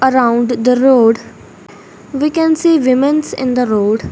around the road we can see womens in the road.